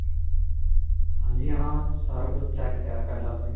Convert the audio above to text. ਹਾਂਜੀ ਹਾਂ. ਸਾਰਾ ਕੁੱਝ checked ਹੈ ਪਹਿਲਾਂ ਤੋਂ ਹੀ.